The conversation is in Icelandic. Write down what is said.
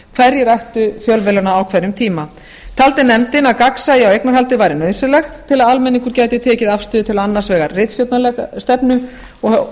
hverjir ættu fjölmiðlana á hverjum tíma taldi nefndin að gagnsæi í eignarhaldi væri nauðsynlegt til að almenningur geti tekið afstöðu til annars vegar ritstjórnarstefnu og